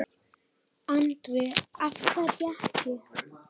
Andri: Af hverju ekki?